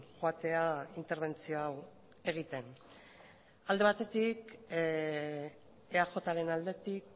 joatea interbentzio hau egiten alde batetik eajren aldetik